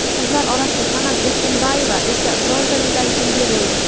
Qizlar orasida Sanam Erkinboyeva esa bronza medalga ega bo‘ldi.